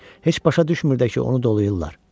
Heç başa düşmürdü ki, onu dolayırlar.